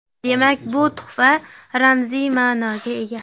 Demak, bu tuhfa ramziy ma’noga ega.